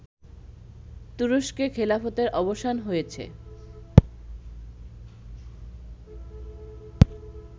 তুরস্কে খেলাফতের অবসান হয়েছে